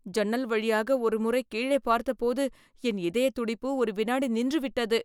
சன்னல் வழியாக ஒரு முறை கீழே பார்த்தபோது, என் இதய துடிப்பு ஒரு வினாடி நின்று விட்டது